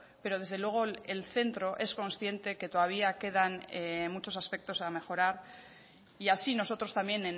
pero desde luego el centro es consciente que todavía quedan en muchos aspectos a mejorar y así nosotros también